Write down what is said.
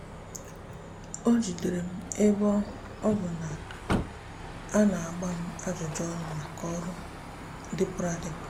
o jidere m ebe ọ bụ na a na-agba m ajụjụ ọnụ maka ọrụ dịpụrụ adịpụ.